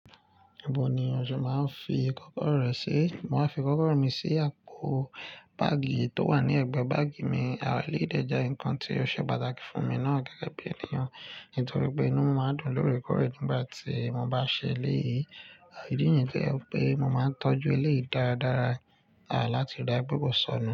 Ibó ni o se máa ń fi kọ́kọ́rọ́ ẹ̀ sí? Mo máa ń fi kọ́kọ́rọ́ mi sí àpò báàgì tó wà ní ẹ̀gbẹ́ báàgì mi. À eleyi de je nǹkan tí ó ṣe pàtàkì fún mi náà gẹ́gẹ́ bí ènìyàn nítorí pé inú mi máa ń dùn lórekọ́re nígbà tí mo bá ṣe eleyìí. Ìdí nìyẹn to je wipé mo máa ń tọ́jú eleyìí dáradára láti rí pe ko sọnù.